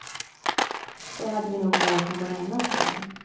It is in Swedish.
Då hade vi nog valt någon annan, säger han.